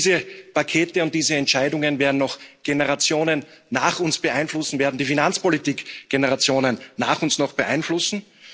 Diese Pakete und diese Entscheidungen werden noch Generationen nach uns beeinflussen, werden die Finanzpolitik noch Generationen nach uns beeinflussen.